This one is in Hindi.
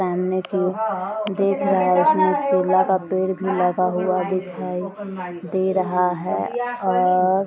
सामने की ओर देख रहा है। इसमें केला का पेड़ लगा हुआ दिखाई दे रहा है और --